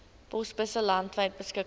posbusse landwyd beskikbaar